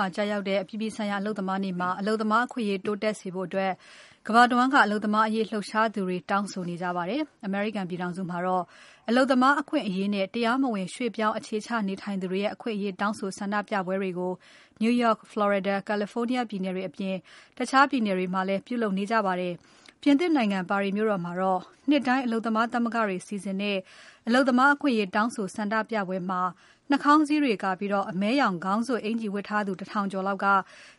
ှာကျရောက်တဲ့ အပြည်ပြည်ဆိုင်ရာ အလုပ်သမားနေ့မှာ အလုပ်သမားအခွင့်အရေး တိုးတက်စေဖို့ ကမ္ဘာတဝန်းက အလုပ်သမားအရေး လှုပ်ရှားသူတွေ တောင်းဆိုနေကြပါတယ်။ အမေရိကန်ပြည်ထောင်စုမှာတော့ အလုပ်သမားအခွင့်အရေးနဲ့ တရားမဝင် ရွှေ့ပြောင်းအခြေချနေထိုင်သူတွေရဲ့ အခွင့်အရေးတောင်းဆိုဆန္ဒပြပွဲတွေကို New York, Florida, California ပြည်နယ်တွေအပြင် တခြားပြည်နယ်တွေမှာ ပြုလုပ်နေကြပါတယ်။ ပြင်သစ်နိုင်ငံ ပါရီမြို့တော်မှာတော့ နှစ်တိုင်း အလုပ်သမားသမဂ္ဂတွေက စီစဉ်တဲ့ အလုပ်သမားအခွင့်အရေးတောင်းဆိုဆန္ဒပြပွဲမှာ နှာခေါင်းစည်းတွေကာပြီး အမဲရောင် ခေါင်းစွပ်အင်္ကျီဝတ်ထားသူ ၁ ထောင်ကျော်လောက်က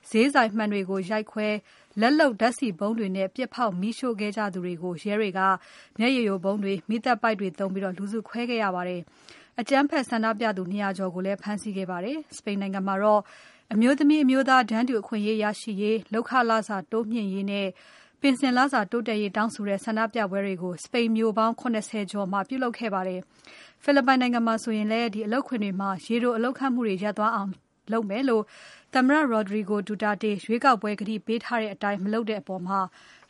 ဈေးဆိုင်မှန်တွေကို ရိုက်ခွဲ လက်လုပ်ဓါတ်ဆီဗုံးတွေနဲ့ ပြစ်ဖေါက်မီးရှို့ခဲ့ကြသူတွေကို ရဲတွေက မျက်ရည်ယိုဗုံးတွေ၊ မီးသတ်ပိုက်တွေသုံးပြီး လူစုခွဲခဲ့ရပါတယ်။ အကြမ်းဖက် ဆန္ဒပြသူ ၂ ရာကျော်ကိုလည်း ဖမ်းဆီးခဲ့ပါတယ်။ စပိန်နိုင်ငံမှာတော့ အမျိုးသမီးအမျိုးသား တန်းတူအခွင့်အရေးရရှိရေး။ လုပ်ခလစာတိုးမြှင့်ရေးနဲ့ ပင်စင်လစာတိုးတက်ရေးတောင်းဆိုတဲ့ ဆန္ဒပြပွဲတွေကို စပိန်မြို့ပေါင်း ၇၀ ကျော်မှာ ပြုလုပ်ခဲ့ကြပါတယ်။ ဖိလစ်ပိုင်နိုင်ငံမှာဆိုရင်လည်း အလုပ်ခွင်တွေမှာ ရေတိုအလုပ်ခန့်မှုတွေ ရပ်သွားအောင်လုပ်မယ်လို့ သမ္မတ Rodrigo Duterte ရွေးကောက်ပွဲကတိပေးထားတဲ့အတိုင်း မလုပ်တဲ့အပေါ်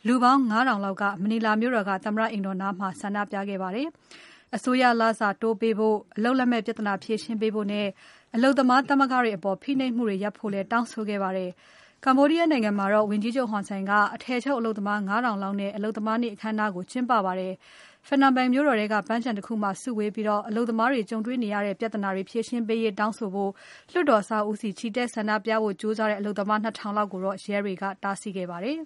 လူပေါင်း ၅ ထောင်လောက် မနီလာမြို့တော်က သမ္မတအိမ်တော်နားမှာ ဆန္ဒပြခဲ့ကြပါတယ်။ အစိုးရလစာတိုးပေးဖို့။ အလုပ်လက်မဲ့ပြဿနာဖြေရှင်းပေးဖို့နဲ့ အလုပ်သမားသမဂ္ဂတွေအပေါ် ဖိနှိပ်မှုတွေရပ်ဖို့လည်း တောင်းဆိုခဲ့ကြပါတယ်။ Cambodia နိုင်ငံမှာတော့ ဝန်ကြီးချုပ် Hun Sen က အထည်ချုပ်အလုပ်သမား ၅ ထောင်လောက်နဲ့ အလုပ်သမားနေ့ အခမ်းအနားကို ကျင်းပခဲ့ပါတယ်။ Phnom Penh မြို့တော်ထဲက ပန်းခြံတခုမှာ စုဝေးပြီး အလုပ်သမားတွေကြုံတွေ့နေရတဲ့ ပြဿနာတွေ ဖြေရှင်းပေးရေးတောင်းဆိုဖို့ လွှတ်တော်အဆောက်အဦးဆီ ချီတက်ဆန္ဒပြဖို့ ကြိုးစားတဲ့ အလုပ်သမား ၂ ထောင်လောက်ကိုတော့ ရဲတွေက တားဆီးခဲ့ပါတယ်